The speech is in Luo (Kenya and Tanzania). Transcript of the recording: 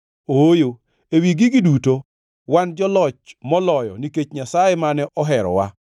Ooyo, ewi gigi duto wan joloch moloyo nikech Nyasaye mane oherowa.